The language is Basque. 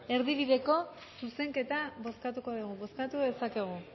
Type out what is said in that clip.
erdibideko zuzenketa bozkatuko dugu bozkatu dezakegu